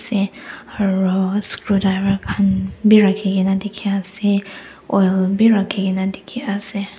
sey aru scrudiver khan bhi rakhi kena ase oil bhi rakhi kena dikhi kena ase.